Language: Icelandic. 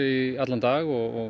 í allan dag og